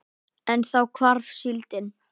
En þá hvarf síldin.